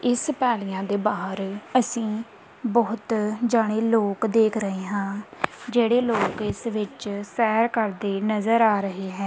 ਇਸ ਪਹਾੜੀਆਂ ਦੇ ਬਾਹਰ ਅਸੀ ਬਹੁਤ ਜਣੇ ਲੋਕ ਦੇਖ ਰਹੇ ਹਾਂ ਜਿਹੜੇ ਲੋਕ ਇਸ ਵਿੱਚ ਸੈਰ ਕਰਦੇ ਨਜ਼ਰ ਆ ਰਹੇ ਹੈਂ।